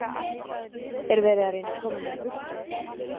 Er verið að reyna að koma mér í burtu?